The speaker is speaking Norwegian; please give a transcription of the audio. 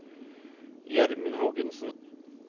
Gjermund Hågensen